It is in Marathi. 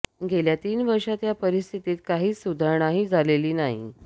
गेल्या तीन वर्षांत या परिस्थितीत काहीच सुधारणाही झालेली नाही